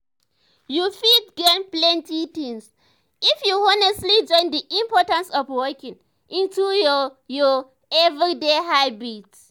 you fit gain plenty things if you honestly join the importance of walking into your your everyday habits.